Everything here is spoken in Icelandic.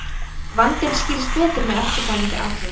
vandinn skýrist betur með eftirfarandi athugun